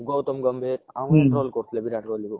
ଗୌତମ ଗମ୍ଭୀର ଆଉ troll କରୁଥିଲେ ବିରାଟ କୋହଲୀ କୁ